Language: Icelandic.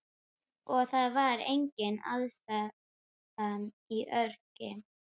Og það var engin aðstaða í Ögri.